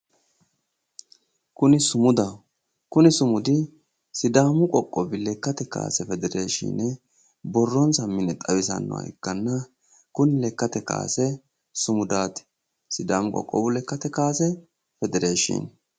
Kuni sumudaho kuni sumudi sidaamu qoqqowi lekkate kaase federeeshiine borronsa mine xawisannoha ikkanna kuni lekkate kaase sumudaati sidaamu qoqqowu lekkate kaase federeeshiine